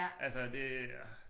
Altså det øh